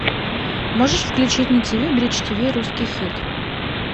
можешь включить на ти ви бридж ти ви русский хит